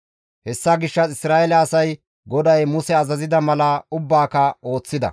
Hessa gishshas Isra7eele asay GODAY Muse azazida mala ubbaaka ooththida.